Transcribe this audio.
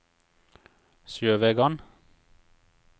Sjøvegan